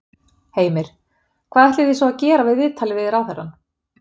Heimir: Hvað ætlið þið svo að gera við viðtalið við ráðherrann?